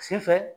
Sen fɛ